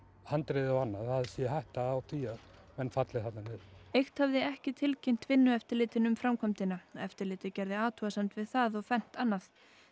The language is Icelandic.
handriða og annað að sé hætta á því að menn falli þarna niður eykt hafði ekki tilkynnt Vinnueftirlitinu um framkvæmdina eftirlitið gerði athugasemd við það og fernt annað